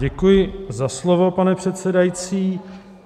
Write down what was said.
Děkuji za slovo, pane předsedající.